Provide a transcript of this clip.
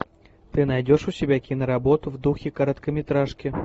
ты найдешь у себя киноработу в духе короткометражки